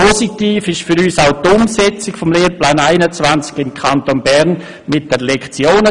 Ebenfalls positiv ist für uns die Umsetzung des Lehrplans 21 im Kanton Bern mit der Lektionentafel;